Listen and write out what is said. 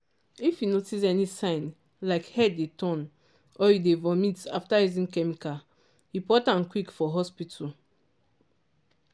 if you notice any sign like head dey turn or you dey vomit after using chemical report am quick for hospital.